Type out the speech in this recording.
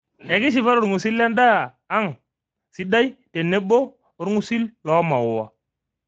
Ekishipa tolng'usil lendaa ang' sidai tenebo olngusil loomaua.